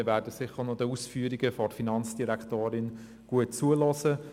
Wir werden den Ausführungen der Finanzdirektorin deshalb sicher gut zuhören.